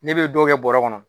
Ne bɛ dɔw kɛ bɔrɛ kɔnɔ.